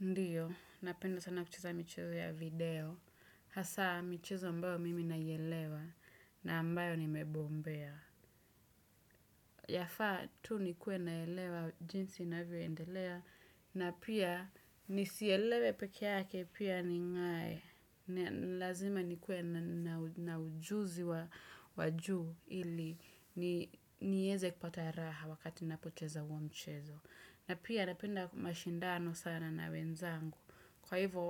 Ndiyo, napenda sana kucheza michezo ya video. Hasa, michezo ambayo mimi naielewa na ambayo nimebombea. Yafaa, tu nikue naelewa jinsi navyo endelea. Na pia, nisielewe pekeake pia ning'ae. Lazima nikue na ujuzi wa juu ili. Nieze kupata raha wakati napocheza huo mchezo. Na pia, napenda mashindano sana na wenzangu. Kwa hivo,